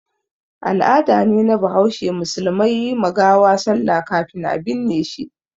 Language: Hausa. Al'ada ne na bahaushe musulmai yi ma gawa sallah kafin a binne shi.